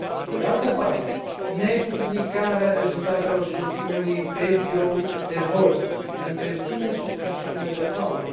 Pe de altă parte, nepublicarea rezultatelor scrutinului pe birou de vot întreține suspiciunile de fraudă.